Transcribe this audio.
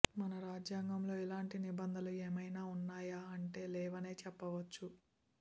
మన రాజ్యాంగంలో ఇలాంటి నిబంధనలు ఏమైనా ఉన్నాయా అంటే లేవనే చెప్పవచ్చు